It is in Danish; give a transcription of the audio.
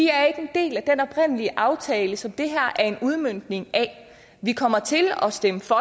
er ikke en del af den oprindelige aftale som det her er en udmøntning af vi kommer til at stemme for